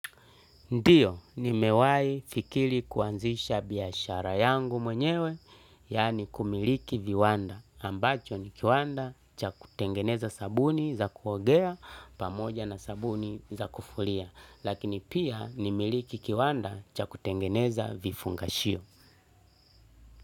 Ndiyo, nimewai fikili kuanzisha biashara yangu mwenyewe yaani kumiliki viwanda ambacho ni kiwanda cha kutengeneza sabuni za kuogea pamoja na sabuni za kufuria lakini pia ni miliki kiwanda cha kutengeneza vifungashio.